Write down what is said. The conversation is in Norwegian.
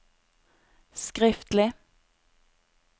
skriftlig